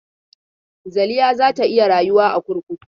Zaliha za ta iya rayuwa a kurkuku?